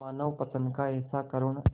मानवपतन का ऐसा करुण